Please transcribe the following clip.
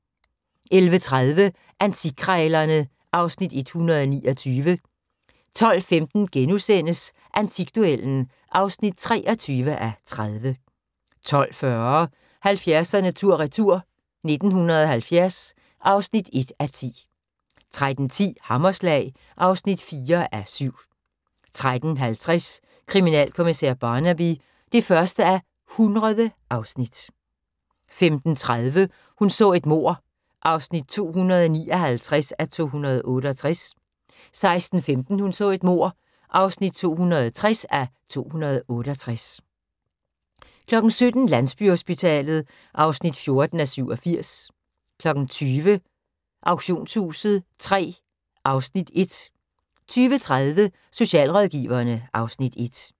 11:30: Antikkrejlerne (Afs. 129) 12:15: Antikduellen (23:30)* 12:40: 70'erne tur retur: 1970 (1:10) 13:10: Hammerslag (4:7) 13:50: Kriminalkommissær Barnaby (1:100) 15:30: Hun så et mord (259:268) 16:15: Hun så et mord (260:268) 17:00: Landsbyhospitalet (14:87) 20:00: Auktionshuset III (Afs. 1) 20:30: Socialrådgiverne (Afs. 1)